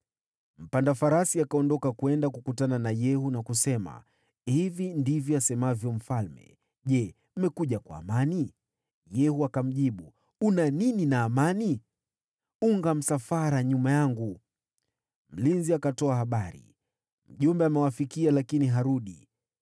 Mpanda farasi akaondoka kwenda kukutana na Yehu na kusema, “Hivi ndivyo asemavyo mfalme: ‘Je, mmekuja kwa amani?’ ” Yehu akamjibu, “Una nini na amani? Unga msafara nyuma yangu.” Mlinzi akatoa habari, “Mjumbe amewafikia lakini harudi.”